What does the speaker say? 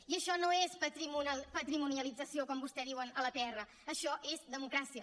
i això no és patrimonialització com vostès diuen a la pr això és democràcia